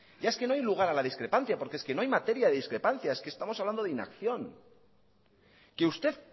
ya es que no hay lugar a la discrepancia porque es que no hay materia de discrepancia es que estamos hablando de inacción que usted